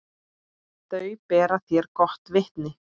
Þau bera þér gott vitni.